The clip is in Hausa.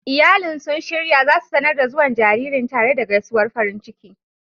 Iyali sun shirya za su sanar da zuwan jaririn tare da gaisuwar farin ciki.